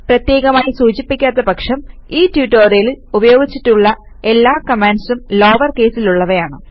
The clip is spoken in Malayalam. പ്രത്യേകമായി സൂചിപ്പിക്കാത്ത പക്ഷം ഈ ട്യൂട്ടോറിയലിൽ ഉപയോഗിച്ചിട്ടുള്ള എല്ലാ കമാൻഡ്സും ലോവർ കേസിൽ ഉള്ളവയാണ്